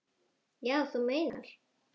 Já, þú meinar.